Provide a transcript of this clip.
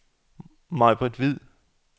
Maibritt Hvid